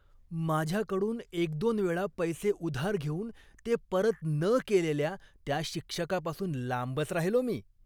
माझ्याकडून एक दोन वेळा पैसे उधार घेऊन ते परत न केलेल्या त्या शिक्षकापासून लांबच राहिलो मी.